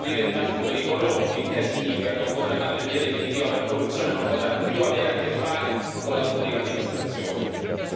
Vogliamo istituire il daspo per i corrotti, il che significa che un condannato in via definitiva per corruzione non potrà più avere a che fare con la pubblica amministrazione.